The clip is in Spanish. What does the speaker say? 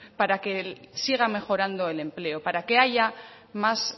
para que siga mejorando el empleo para que haya más